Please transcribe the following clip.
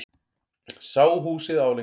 Sá húsið álengdar.